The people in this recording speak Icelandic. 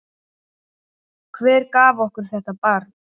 Hver gaf okkur þetta barn?